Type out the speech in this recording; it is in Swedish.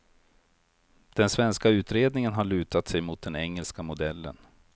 Den svenska utredningen har lutat sig mot den engelska modellen.